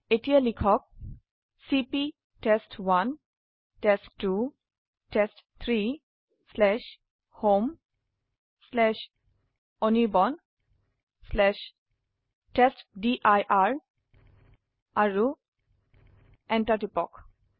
এতিয়া লিখক চিপি টেষ্ট1 টেষ্ট2 টেষ্ট3 homeanirbantestdir আৰুEnter টিপক